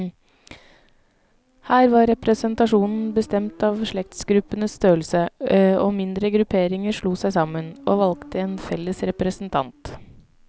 Her var representasjonen bestemt av slektsgruppenes størrelse, og mindre grupperinger slo seg sammen, og valgte en felles representant.